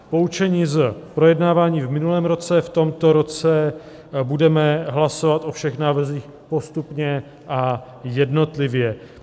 Poučení z projednávání v minulém roce: v tomto roce budeme hlasovat o všech návrzích postupně a jednotlivě.